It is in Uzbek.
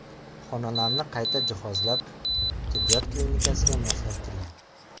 Xonalarni qayta jihozlab, tibbiyot klinikasiga moslashtirgan.